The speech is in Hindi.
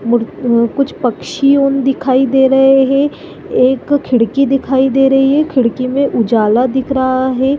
मूर्त अअ न कुछ पक्षी ओन दिखाई दे रहे है एक खिड़की दिखाई दे रही है खिड़की में उजाला दिख रहा है।